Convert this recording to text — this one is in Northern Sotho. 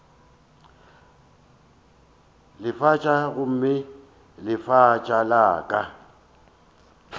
lefatša gomme lefatša la ka